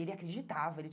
E ele acreditava.